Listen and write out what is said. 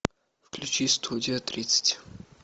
включи студия тридцать